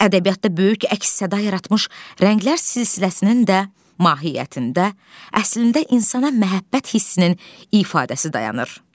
Ədəbiyyatda böyük əks səda yaratmış Rənglər silsiləsinin də mahiyyətində əslində insana məhəbbət hissinin ifadəsi dayanır.